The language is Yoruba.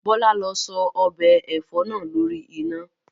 Bọ́lá lọ sọ ọbẹ̀ ẹ̀fọ́ náà lórí iná!